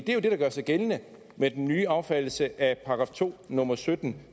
jo det der gør sig gældende med den nye affattelse af § to nummer sytten